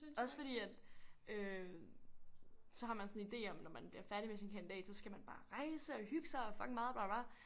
Også fordi at øh så har man sådan idé om når man bliver færdig med sin kandidat så skal man bare rejse og hygge sig fucking meget og bla bla bla